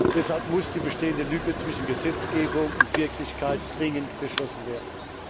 Deshalb muss die bestehende Lücke zwischen Gesetzgebung und Wirklichkeit dringend geschlossen werden.